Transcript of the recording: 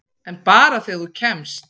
En bara þegar þú kemst.